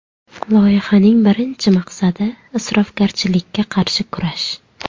Loyihaning birinchi maqsadi – isrofgarchilikka qarshi kurash.